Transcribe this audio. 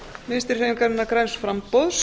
vinstri hreyfingarinnar græns framboðs